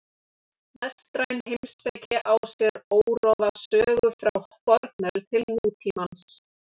Vestræn heimspeki á sér órofa sögu frá fornöld til nútímans.